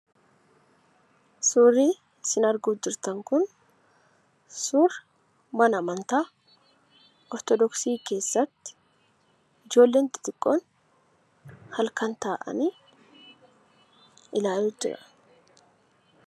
Suurri isin arguu jirtan kun suura mana amantaa ortodoksi keessatti ijoolleen xixiqqoon halkan taa'anii ilaaluu jiran